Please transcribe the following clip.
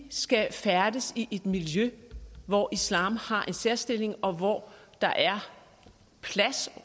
skal færdes i et miljø hvor islam har en særstilling og hvor der er plads